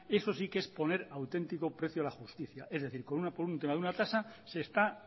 eso sí que es poner auténtico precio a la justicia es decir por un tema de una tasa se está